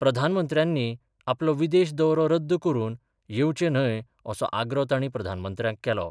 प्रधानमंत्र्यानी आपलो विदेश दौरो रद्द करुन येवचे न्हय असो आग्रो ताणी प्रधानमंत्र्याक केलो.